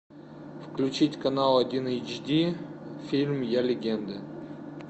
включить канал один эйч ди фильм я легенда